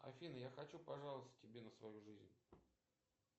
афина я хочу пожаловаться тебе на свою жизнь